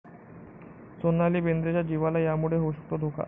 सोनाली बेंद्रेच्या जीवाला यामुळे होऊ शकतो धोका